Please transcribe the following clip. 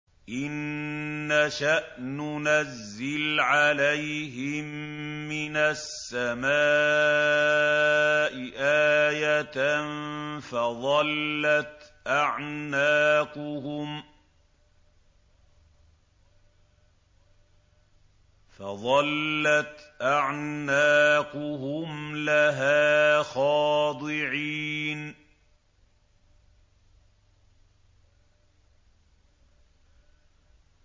إِن نَّشَأْ نُنَزِّلْ عَلَيْهِم مِّنَ السَّمَاءِ آيَةً فَظَلَّتْ أَعْنَاقُهُمْ لَهَا خَاضِعِينَ